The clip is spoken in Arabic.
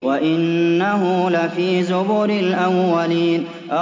وَإِنَّهُ لَفِي زُبُرِ الْأَوَّلِينَ